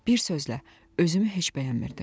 Bir sözlə, özümü heç bəyənmirdim.